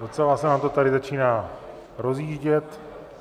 Docela se nám to tady začíná rozjíždět.